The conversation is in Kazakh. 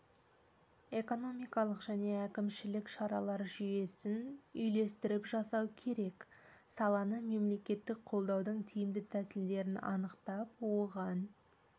экономикалық және әкімшілік шаралар жүйесін үйлестіріп жасау керек саланы мемлекеттік қолдаудың тиімді тәсілдерін анықтап оған